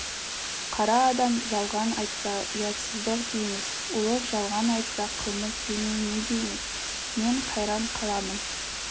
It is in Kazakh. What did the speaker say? қара адам жалған айтса ұятсыздық дейміз ұлық жалған айтса қылмыс демей не дейміз мен қайран қаламын